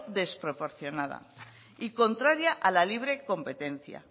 desproporcionada y contraria a la libre competencia